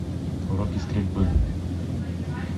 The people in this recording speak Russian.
уроки стрельбы